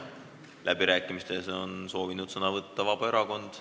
Läbirääkimistel on soovinud sõna võtta Vabaerakond.